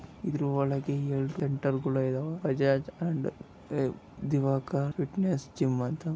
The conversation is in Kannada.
ಇದರ ಒಳಗೆ ಎರಡು ಸೆಂಟರ್ಗಳು ಕೂಡ ಇದಾವೆ. ಬಜಾಜ್ ದಿವಾಕರ್ ಫಿಟ್ನೆಸ್ ಜಿಮ್ ಅಂತ--